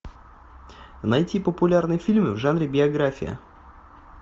найти популярные фильмы в жанре биография